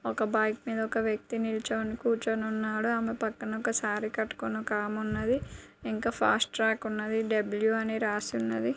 ఒక బైక్ మీద ఒక వ్యక్తి నిలుచొని కూర్చొని ఉన్నాడు. ఆమె పక్కన సారీ కట్టుకొని ఒక ఆవిడ ఉంది. ఇంకా ఫస్ట్ ట్రాక్ ఉన్నది .డబ్ల్యు అని రాసి ఉన్నది.